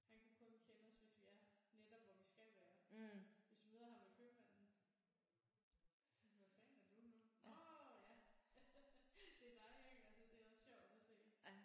Han kan kun kende os hvis vi er netop hvor vi skal være hvis vi møder ham ved købmanden hvem fanden er du nu? Nårh ja det er dig ikke altså det er også sjovt at se